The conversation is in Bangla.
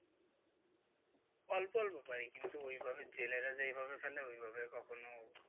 অল্প অল্প পারি কিন্তু ওইভাবে জেলেরা যেইভাবে ফেলে ওইভাবে কখনো,